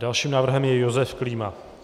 Dalším návrhem je Josef Klíma.